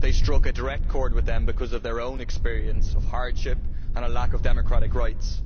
They struck a direct chord with them because of their own experience of hardship and a lack of democratic rights.